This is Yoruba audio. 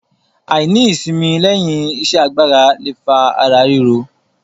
Àìní ìsimi lẹ́yìn iṣẹ́ agbára le fa ara ríro.